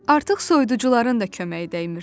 Artıq soyuducuların da köməyi dəymirdi.